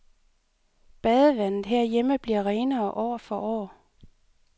Badevandet herhjemme bliver renere år for år.